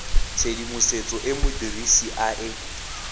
tshedimosetso e modirisi a e